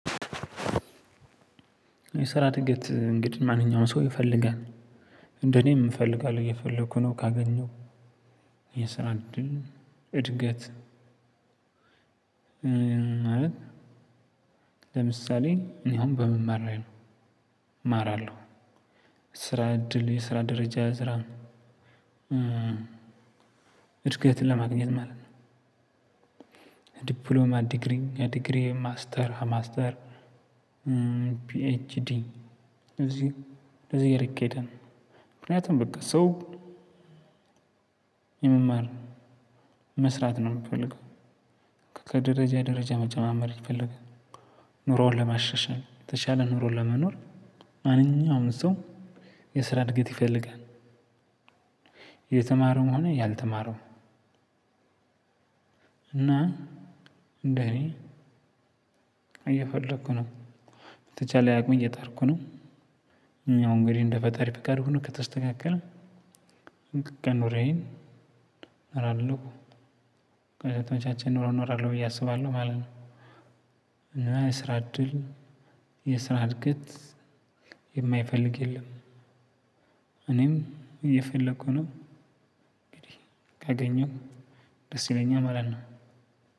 የሰራ እድገት እንግዲህ ማንኛውም ሰው ይፈልጋል። እንደኔም እፈልጋለሁ እየፈለኩ ነው ካገኘሁ። የሰራ እድል እድገት። ለምሳሌ እኔ አሁን በመማር ላይ ነው። እማራለሁ ስራ እድል የስራ ደረጃ ያዝራል። እድገትን ለማግኘት ማለት ነው። ዲፕሎማ ዲግሪ ዲግሪ ማስተር ማስተር ፒኤችዲ እዚህ እንደዚህ እያለ ይኬዳል። ምክንያቱም በቃ ሰው። የመማር መስራት ነው የሚፈልገው። ከደረጃ ደረጃ መጨማመርን ይፈልጋል። ኑሮውን ለማሻሻል የተሻለ ኑሮውን ለመኖር። ማንኛውም ሰው የስራ እድገት ይፈልጋል። የተማረውም ሆነ ያልተማረውም። እና እንደኔ እየፈለኩ ነው። በተቻለ አቅም እየጠራኩ ነው። እኛው እንግዲህ እንደ ፈጣሪ ፍቃድ ነው ከተስተካከለ ኑሮዬን እኖራለሁ። ከዛ የተመቻቸ ኑሮ እኖራለሁ ብዬ አስባለሁ ማለት ነው። እና የስራ እድል የስራ እድገት የማይፈልግ የለም። እኔም እየፈለኩ ነው እንግዲህ ካገኘው ደስ ይለኛል ማለት ነው።